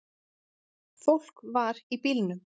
Fólk var í bílnum.